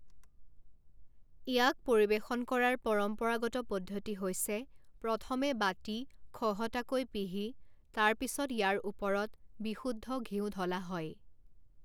ইয়াক পৰিৱেশন কৰাৰ পৰম্পৰাগত পদ্ধতি হৈছে প্ৰথমে বাটী খহটাকৈ পিহি, তাৰ পিছত ইয়াৰ ওপৰত বিশুদ্ধ ঘিউ ঢলা হয়।